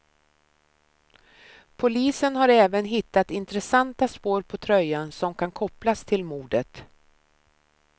Polisen har även hittat intressanta spår på tröjan som kan kopplas till mordet.